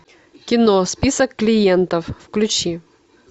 кино список клиентов включи